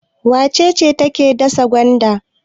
Wace ce take dasa gwanda?